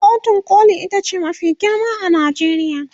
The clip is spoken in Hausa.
kotun koli itace mafi girma a Najeriya